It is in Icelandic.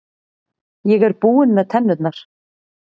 Ég er búinn með tennurnar.